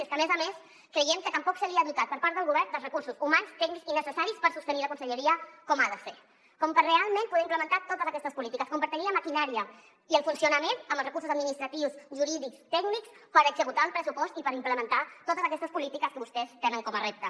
i és que a més a més creiem que tampoc s’ha dotat per part del govern dels recursos humans tècnics i necessaris per sostenir la conselleria com ha de ser per realment poder implementar totes aquestes polítiques per tenir la maquinària i el funcionament amb els recursos administratius jurídics i tècnics per executar el pressupost i per implementar totes aquestes polítiques que vostès tenen com a repte